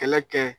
Kɛlɛ kɛ